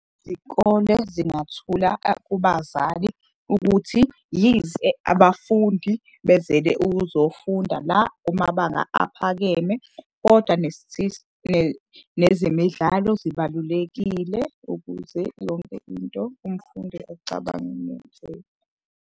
Zingathula kubazali ukuthi yize abafundi bezele ukuzofunda la kumabanga aphakeme. Kodwa nezemidlalo zibalulekile ukuze yonke into umfundi acabange .